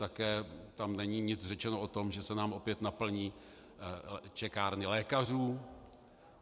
Také tam není nic řečeno o tom, že se nám opět naplní čekárny lékařů.